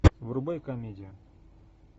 врубай комедию